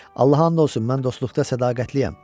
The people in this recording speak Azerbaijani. Allaha and olsun, mən dostluqda sədaqətliyəm.